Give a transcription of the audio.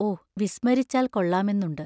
O വിസ്മരിച്ചാൽ കൊള്ളാമെന്നുണ്ട്.